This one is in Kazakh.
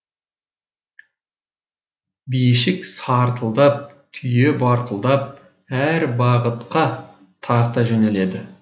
бишік сартылдап түйе барқылдап әр бағытқа тарта жөнеледі